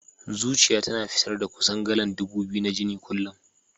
Zuciyar tana fitar da kusan galan ɗubu biyu na jini a kullum.